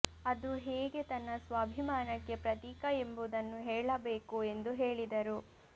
ಅದು ಹೇಗೆ ತನ್ನ ಸ್ವಾಭಿಮಾನಕ್ಕೆ ಪ್ರತೀಕ ಎಂಬುದನ್ನು ಹೇಳಬೇಕು ಎಂದು ಹೇಳಿದರು